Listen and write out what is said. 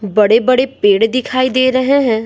बड़े-बड़े पेड़ दिखाई दे रहे हैं।